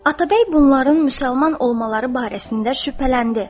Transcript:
Atabəy bunların müsəlman olmaları barəsində şübhələndi.